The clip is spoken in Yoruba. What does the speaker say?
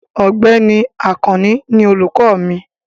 Ọ̀gbẹ́ni Àkànní ní olùkọ mi.